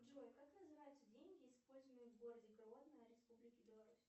джой как называются деньги используемые в городе гродно республики беларусь